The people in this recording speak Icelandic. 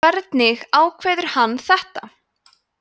hvernig áðveður hann þetta